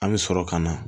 An bɛ sɔrɔ ka na